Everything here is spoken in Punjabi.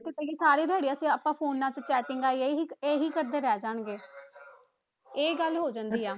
ਤੇ ਕਹੀਏ ਸਾਰੀ ਦਿਹਾੜੀ ਅਸੀਂ ਆਪਾ phones ਤੇ ਚੈਟਿੰਗਾਂ ਇਹੀ ਇਹੀ ਕਰਦੇ ਰਹਿ ਜਾਵਾਂਗਾ ਇਹ ਗੱਲ ਹੋ ਜਾਂਦੀ ਆ